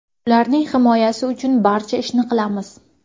Ularning himoyasi uchun barcha ishni qilamiz.